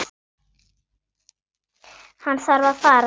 Hann þarf að fara.